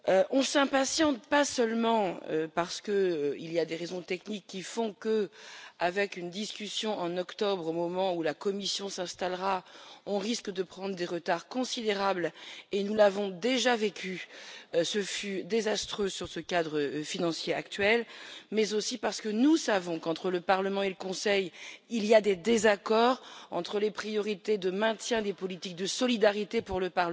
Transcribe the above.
On s'impatiente, d'abord parce qu'il y a des raisons techniques qui font que, avec une discussion en octobre au moment où la Commission s'installera, on risque de prendre un retard considérable nous l'avons déjà vécu, et ce fut désastreux, sur le cadre financier actuel. Ensuite parce que nous savons qu'entre le Parlement et le Conseil il y a des désaccords, entre, pour le Parlement, les priorités de maintien des politiques de solidarité et, pour le